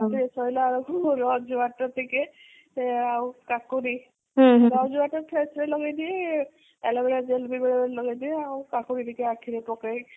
ରାତିରେ ଶୋଇଲା ବେଳକୁ ମୋର rose water ସେ ଆଉ କାକୁଡି rose water face ରେ ଲଗେଇଦିଏ aloe vera gel ବି ବେଳେବେଳେ ଲଗେଇଦିଏ ଆଉ କାକୁଡି ଟିକେ ଆଖିରେ ପକାଏ